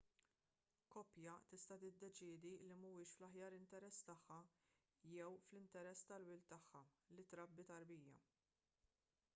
koppja tista' tiddeċiedi li mhuwiex fl-aħjar interess tagħha jew fl-interess tal-wild tagħha li trabbi tarbija